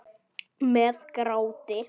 Með gráti.